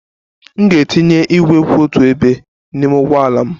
M ga-etinye igwe kwụ otu ebe n'ime ụgbọ ala m.